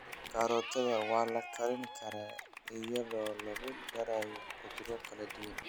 Karootada waa la karin karaa iyadoo lagu darayo khudrado kala duwan.